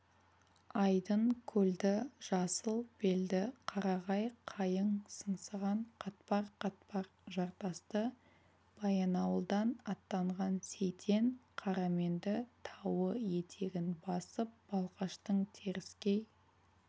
айдын көлді жасыл белді қарағай қайың сыңсыған қатпар-қатпар жартасты баянауылдан аттанған сейтен қараменді тауы етегін басып балқаштың теріскей